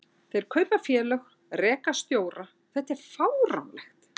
Þeir kaupa félög, reka stjóra, þetta er fáránlegt.